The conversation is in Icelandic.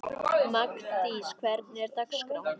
Magndís, hvernig er dagskráin?